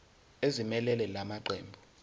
ezimelele la maqembu